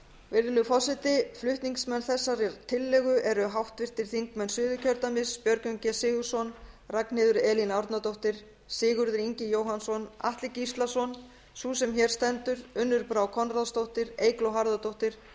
virðulegi forseti flutningsmenn þessarar tillögu eru háttvirtir þingmenn suðurkjördæmis björgvin g sigurðsson ragnheiður elín árnadóttir sigurður ingi jóhannsson atli gíslason sú sem hér stendur unnur brá konráðsdóttir eygló harðardóttir